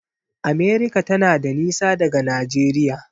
America tana da nisa daga Najeriya.